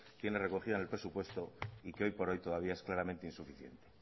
tiene recogida en el presupuesto y que hoy por hoy todavía es claramente insuficiente